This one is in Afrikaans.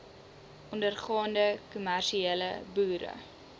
ondergaande kommersiële boere